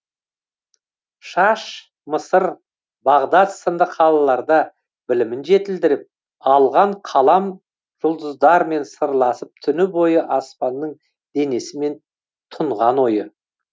шаш мысыр бағдат сынды қалаларда білімін жетілдіріп алған қалам жұлдыздармен сырласып түні бойы аспанның денесімен тұнған ойы